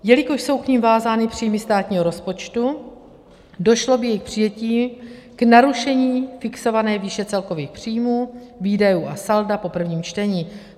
Jelikož jsou k nim vázány příjmy státního rozpočtu, došlo by jejich přijetím k narušení fixované výše celkových příjmů, výdajů a salda po prvním čtení.